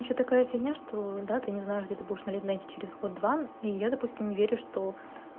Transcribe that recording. ещё такая фигня что да ты не знаешь где ты будешь найти через год-два и я допустим не верю что